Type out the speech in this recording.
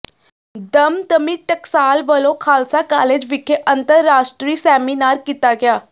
ਦਮਦਮੀ ਟਕਸਾਲ ਵਲੋਂ ਖਾਲਸਾ ਕਾਲਜ ਵਿਖੇ ਅੰਤਰਾਸ਼ਟਰੀ ਸੈਮੀਨਾਰ ਕੀਤਾ ਗਿਆ